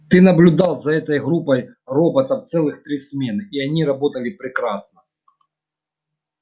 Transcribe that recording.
ты наблюдал за этой группой роботов целых три смены и они работали прекрасно